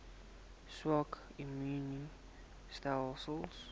swak immuun stelsels